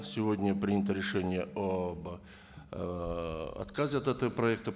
сегодня принято решение об ыыы отказе от этого проекта